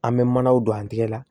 An bɛ manaw don an tɛgɛ la